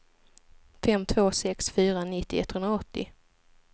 fem två sex fyra nittio etthundraåttio